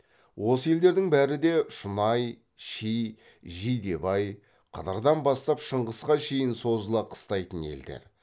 осы елдердің бәрі де шұнай ши жидебай қыдырдан бастап шыңғысқа шейін созыла қыстайтын елдер